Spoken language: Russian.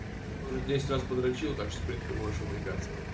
уже десять раз подрочил так что принципе можешь выдвигаться